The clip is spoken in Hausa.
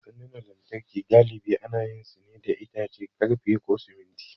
Sandunan lantarki galibi ana yin su ne da itace, ƙarfe, ko siminti.